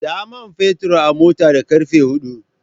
Sa man fetur a mota da karfe hudu.